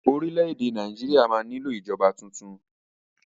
Orílẹ̀ èdè Nàìjíríà máa nílò ìjọba tuntun.